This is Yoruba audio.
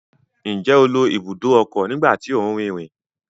Njẹ o lo ibùdó ọkọ nígbà tí o nrinrin?